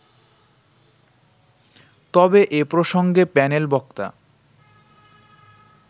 তবে এ প্রসঙ্গে প্যানেল বক্তা